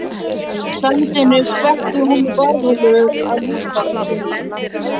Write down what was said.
Hlandinu skvetti hún í garðholu að húsabaki